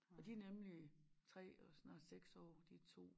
Og de nemlig 3 og snart 6 år de 2